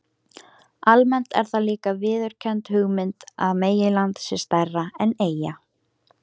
Almennt er það líka viðurkennd hugmynd að meginland sé stærra en eyja.